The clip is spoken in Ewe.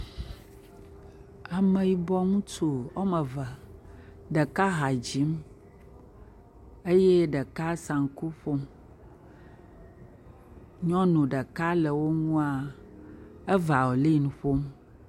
Ame yibɔ ŋutsu woame eve, ɖeka dzim eye ɖeka sanku ƒom. Nyɔnu ɖeka le wo ŋua eviolin ƒom.